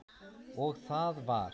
Og það var